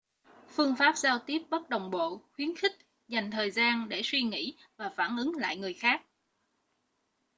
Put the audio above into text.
phương pháp giao tiếp bất đồng bộ khuyến khích dành thời gian để suy nghĩ và phản ứng lại người khác